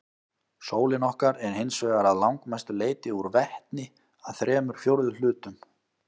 Sólin okkar er hins vegar að langmestu leyti úr vetni, að þremur fjórðu hlutum.